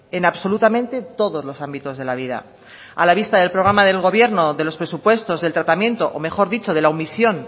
en absolutamente todos los ámbitos de la vida a la vista del programa del gobierno de los presupuestos del tratamiento o mejor dicho de la omisión